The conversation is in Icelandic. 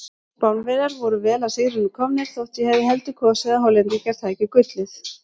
Spánverjar voru vel að sigrinum komnir þótt ég hefði heldur kosið að Hollendingar tækju gullið.